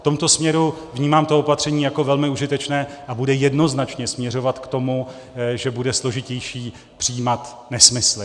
V tomto směru vnímám to opatření jako velmi užitečné a bude jednoznačně směřovat k tomu, že bude složitější přijímat nesmysly.